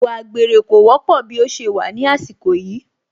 Ìwà àgbèrè kò wọ́pọ̀ bí ó ṣe wà ní àsìkò yìí